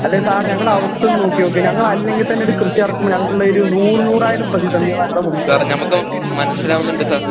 അല്ലേ സാറ് ഞങ്ങടെ അവസ്ഥയൊന്നോക്കി നോക്ക് ഞങ്ങല്ലെങ്കിത്തന്നൊരു കൃഷി എറക്കുമ്പോ ഞങ്ങക്കിള്ളെയൊരു നൂറുനൂറായിരം പ്രതിസന്ധികളാ ഞങ്ങടെ മുമ്പിലുള്ളെ